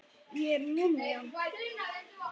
Ég er múmían.